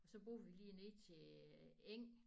Og så bor vi lige ned til eng